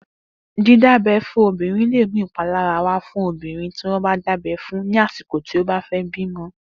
Didábẹ̀ fùn óbírín lé mú ipálárá wà fùn óbírín tiwọn dábẹ̀ fún ni àsíkó ti ó bá fè bimọ